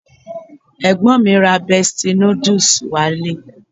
Ẹ̀gbọ́n mi ra Bestie noodles wá ilé